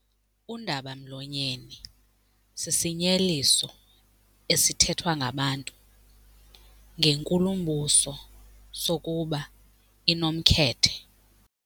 Undaba-mlonyeni sisinyeliso esithethwa ngabantu ngenkulumbuso sokuba inomkhethe.